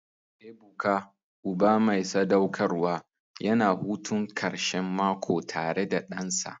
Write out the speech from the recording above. Ebuka, uba mai sadaukarwa, yana hutun karshen mako tare da ɗansa.